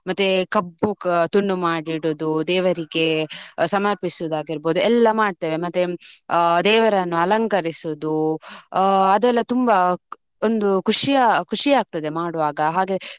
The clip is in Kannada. ಮತ್ತೆ ಕಬ್ಬು ಅ ತುಂಡು ಮಾಡಿ ಇಡುದು. ದೇವರಿಗೆ ಸಮರ್ಪಿಸುದು ಆಗಿರ್ಬೋದು ಎಲ್ಲ ಮಾಡ್ತೇವೆ. ಮತ್ತೆ ಅ ದೇವರನ್ನು ಅಲಂಕರಿಸುದು ಅ ಅದೆಲ್ಲ ತುಂಬಾ ಒಂದು ಖುಷಿಯ ಖುಷಿಯಾಗ್ತದೆ ಮಾಡ್ವಾಗ, ಹಾಗೆ.